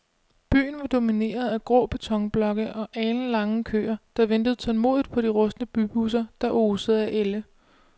Byen var domineret af grå betonblokke og alenlange køer, der ventede tålmodigt på de rustne bybusser, der osede af ælde.